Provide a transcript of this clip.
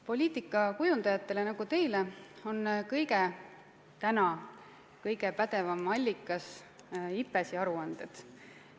Poliitikakujundajatele nagu teie on täna kõige pädevam allikas IPBES-i aruanded.